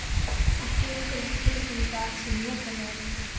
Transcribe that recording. Ekki lengur þessi tilfinning að allt sé notalega ruglað.